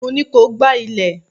Mo ní ko gbá ilé!